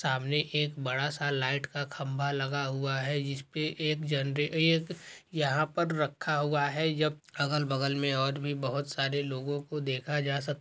--सामने एक बड़ा सा लाइट का खंबा लगा हुआ है जिस पे एक जन एक यहाँ पर रखा हुआ है जब अगल बगल मे बहुत से लोगों को देखा जा सक--